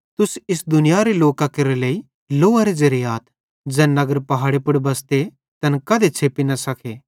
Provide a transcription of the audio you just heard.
तुस इस दुनियारे लोकां केरे लेइ लोअरे ज़ेरे आथ ज़ैन नगर पहाड़े पुड़ बसते तैन कधे भी छ़ेप्पी न सके